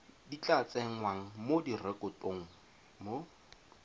tla tsengwang mo direkotong mo